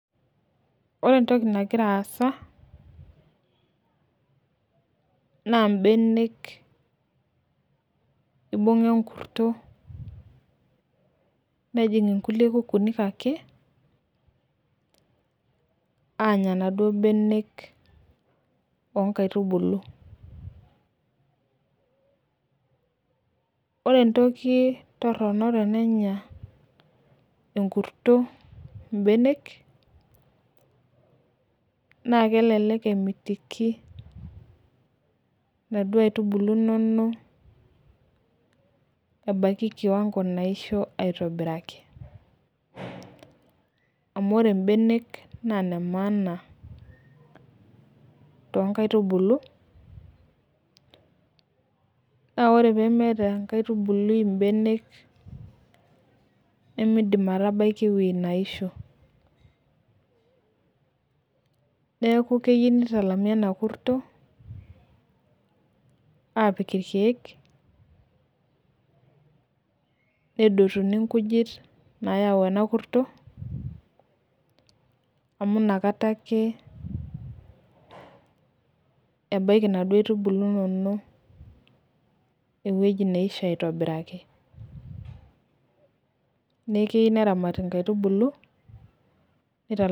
Ore entoki nagira aasa, naa benek ibunga enkurti. nejing nkulie nkukunik ake, aanya inaduoo benek oonkaitubulu. ore entoki Torono tenenya enkurto ibenek naa kelelek kemitiki inaduoo aitubulu inonok, ebaiki kiwango naisho aitobiraki, amu ore Ibenek naa ine maana, too nkaitubulu. naa ore pee meeta enkaitubului, Ibenek, nemeidim aatabaiki ewueji naisho. neeku keyieu. Nitalami ena kurto aapik irkeek. neitayuni nkujit naayau ena kurto. amu inakata ake ebaiki inaduoo aitubulu inonok. ewueji neisho aitobiraki. neeku keyieu neramati inkaitubulu nitalami